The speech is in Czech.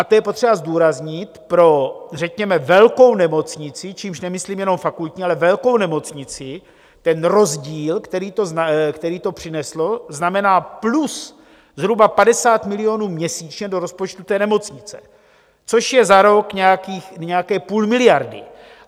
A to je potřeba zdůraznit pro řekněme velkou nemocnici - čímž nemyslím jenom fakultní, ale velkou nemocnici - ten rozdíl, který to přinesl, znamená plus zhruba 50 milionů měsíčně do rozpočtu té nemocnice, což je za rok nějaké půl miliardy.